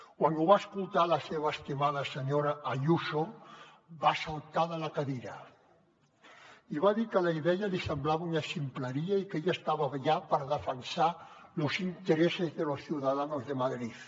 quan ho va escoltar la seva estimada senyora ayuso va saltar de la cadira i va dir que la idea li semblava una ximpleria i que ella estava allà per defensar los intereses de los ciudadanos de madrid